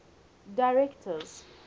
directors